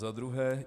Za druhé.